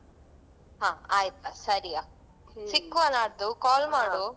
ಹಾ ಆಯ್ತು ಸರಿ ಆ ಹ್ಮ್ ಸಿಕ್ಕುವ ನಾಡ್ದು call ಮಾಡು.